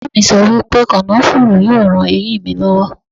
Bàbá mi sọ wípé kànáfùrú yóò ran eyín mi lọ́wọ́.